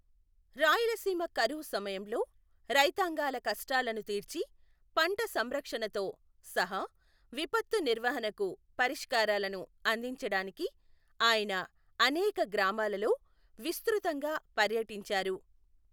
రాయలసీమ కరువు సమయంలో, రైతాంగాల కష్టాలను తీర్చి, పంట సంరక్షణతో సహా విపత్తు నిర్వహణకు పరిష్కారాలను అందించడానికి ఆయన అనేక గ్రామాలలో విస్తృతంగా పర్యటించారు.